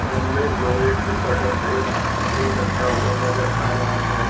सामने लोहे के शटर पे फूल लटका हुआ नजर आ रहा है।